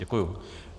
Děkuji.